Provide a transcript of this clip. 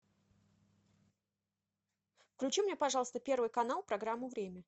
включи мне пожалуйста первый канал программу время